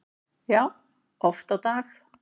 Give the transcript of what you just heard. Já, oft á dag